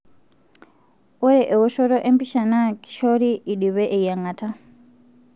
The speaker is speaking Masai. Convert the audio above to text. ore eoshoto empisha na kishori indipe eyiangata,